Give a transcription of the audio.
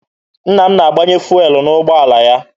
Nna m na-agbanye fụelụ n'ụgbọala ya.